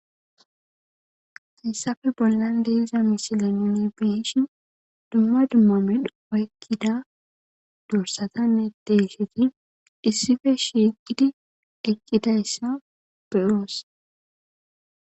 Hayissappe bollanni diza missilenni nuni be'ishshinn dumma dumma medhdho oyikkida dorssayanne deyishshati issippe shiqqiddi de'ossona.